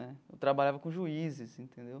Né eu trabalhava com juízes, entendeu?